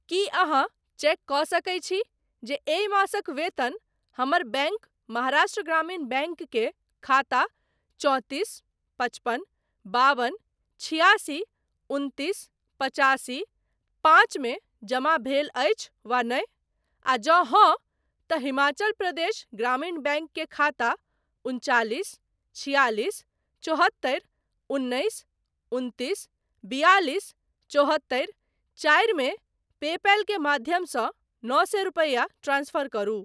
की अहाँ चेक कऽ सकैत छी जे एहि मासक वेतन हमर बैंक महाराष्ट्र ग्रामीण बैंक के खाता चौंतीस पचपन बाबन छिआसी उनतीस पचासी पाँच मे जमा भेल अछि वा नहि, आ जँ हँ , तँ हिमाचल प्रदेश ग्रामीण बैंक के खाता उनचालिस छियालिस चौहत्तरि उन्नैस उनतीस बियालिस चौहत्तरि चारि मे पेपैल के माध्यमसँ नओ सए रुपैया ट्रांसफर करू।